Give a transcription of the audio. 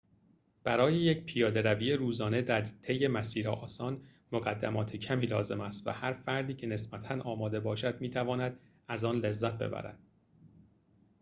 برای یک پیاده‌روی روزانه در طی مسیر آسان مقدمات کمی لازم است و هر فردی که نسبتاً آماده باشد می‌تواند از آن لذت ببرد